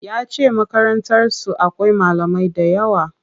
Yace Makarantar su akwai malamai dayawa.